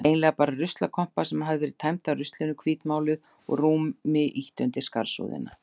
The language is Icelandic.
Eiginlega bara ruslakompa sem hafði verið tæmd af ruslinu, hvítmáluð og rúmi ýtt undir skarsúðina.